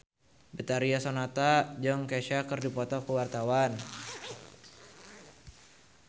Betharia Sonata jeung Kesha keur dipoto ku wartawan